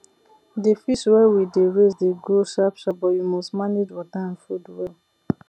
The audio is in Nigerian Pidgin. the fish wey we dey raise dey grow sharpsharp but you must manage water and food well